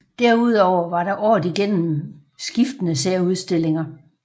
Derudover var der året igennem skiftende særudstillinger